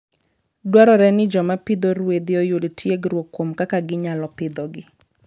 Dwarore ni joma pidho ruedhi oyud tiegruok kuom kaka ginyalo pidhogi.